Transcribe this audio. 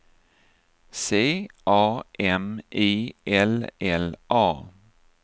C A M I L L A